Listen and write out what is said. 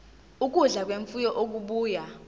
ukudla kwemfuyo okubuya